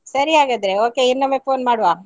ಸರಿ ಹಾಗಾದ್ರೆ okay ಇನ್ನೊಮ್ಮೆ phone ಮಾಡುವ.